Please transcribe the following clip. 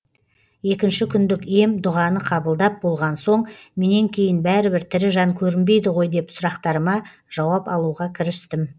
екінші күндік ем дұғаны қабылдап болғансоң менен кейін бәрібір тірі жан көрінбейді ғой деп сұрақтарыма жауап алуға кірістім